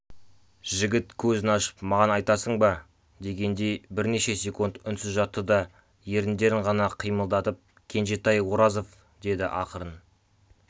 жігіт көзін ашып маған айтасың ба дегендей бірнеше сеқунд үнсіз жатты да еріндерін ғана қимылдатып кенжетай оразов деді ақырын